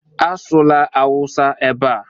Asụla awụsa ebe a!